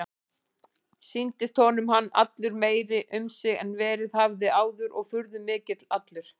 Sýndist honum hann allur meiri um sig en verið hafði áður og furðumikill allur.